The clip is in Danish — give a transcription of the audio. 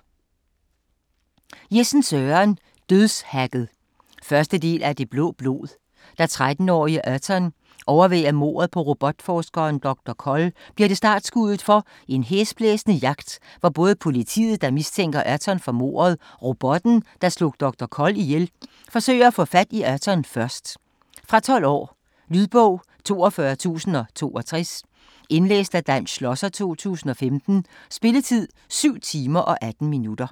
Jessen, Søren: Dødshacket 1. del af Det blå blod. Da 13-årige Erton overværer mordet på robotforskeren Dr. Koll bliver det startskuddet for en hæsblæsende jagt, hvor både politiet, der mistænker Erton for mordet, og robotten, der slog Dr. Koll ihjel forsøger at få fat i Erton først. Fra 12 år. Lydbog 42062 Indlæst af Dan Schlosser, 2015. Spilletid: 7 timer, 18 minutter.